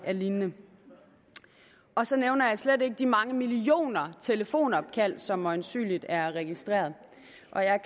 lignende og så nævner jeg slet ikke de mange millioner telefonopkald som øjensynlig er registreret